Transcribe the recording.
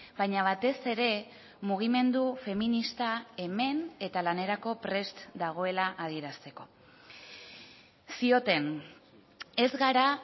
baina batez ere mugimendu feminista hemen eta lanerako prest dagoela adierazteko zioten ez gara